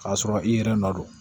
K'a sɔrɔ i yɛrɛ nɔ don